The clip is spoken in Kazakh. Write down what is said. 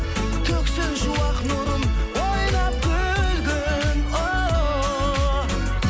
төксін шуақ нұрын ойнап күлгін ооо